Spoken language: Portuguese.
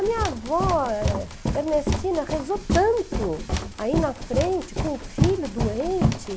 A minha avó, eh eh, Ernestina, rezou tanto aí na frente com o filho doente.